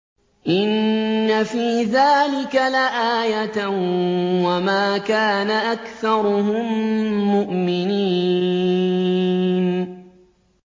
إِنَّ فِي ذَٰلِكَ لَآيَةً ۖ وَمَا كَانَ أَكْثَرُهُم مُّؤْمِنِينَ